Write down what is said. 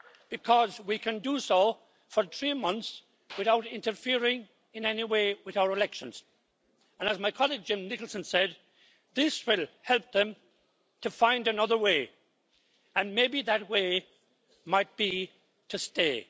Because we can do so for three months without interfering in any way with our elections. As my colleague, Jim Nicholson, said, this will help them to find another way and maybe that way will be to stay.